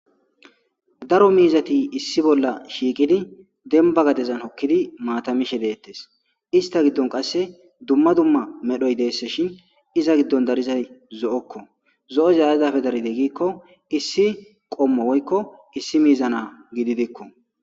Daro miizati issi bolla shiiqidi demba gadezan okkidi maatamishe deettes ista giddon qasse dumma dumma medhoy deesse shin iza giddon darizay zo'okko zo'o zaazafe daride gikko issi qommo woykko issi miizana gididikko.